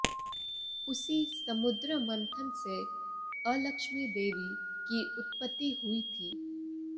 उसी समुद्र मंथन से अलक्ष्मी देवी की उत्पत्ति हुई थी